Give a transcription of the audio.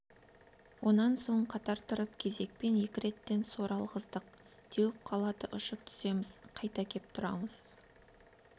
онан соң қатар тұрып кезекпен екі реттен сор алғыздық теуіп қалады ұшып түсеміз қайта кеп тұрамыз